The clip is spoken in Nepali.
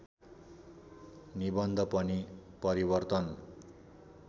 निबन्ध पनि परिवर्तन